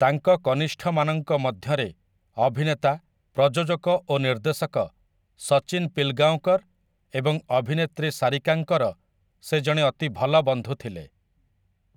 ତାଙ୍କ କନିଷ୍ଠମାନଙ୍କ ମଧ୍ୟରେ, ଅଭିନେତା, ପ୍ରଯୋଜକ ଓ ନିର୍ଦ୍ଦେଶକ ସଚିନ ପିଲଗାଓଁକର ଏବଂ ଅଭିନେତ୍ରୀ ସାରିକାଙ୍କର ସେ ଜଣେ ଅତି ଭଲ ବନ୍ଧୁ ଥିଲେ ।